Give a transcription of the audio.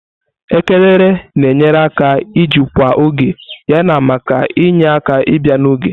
Elekere na-enyere aka ijikwa oge yana maka inye aka ibia n'oge.